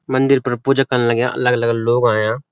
मंदिर पर पूजा कन लग्याँ अलग-अलग लोग अयां।